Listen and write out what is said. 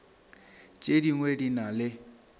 tše dingwe di na le